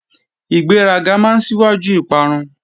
Ìgbéraga máa síwájú ìparun